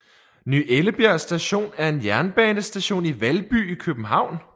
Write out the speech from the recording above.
Ny Ellebjerg Station er en jernbanestation i Valby i København